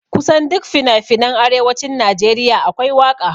Kusan duk finafinan arewacin Najeriya akwai waƙa